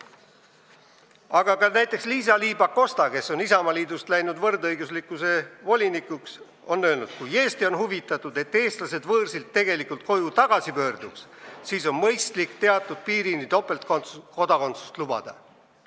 Aga ka näiteks Liisa-Ly Pakosta, kes on Isamaaliidust võrdõiguslikkuse volinikuks läinud, on öelnud: "Kui Eesti on huvitatud, et eestlased võõrsilt tegelikult koju tagasi pöörduks, siis on mõistlik teatud piirini topeltkodakondsust lubada.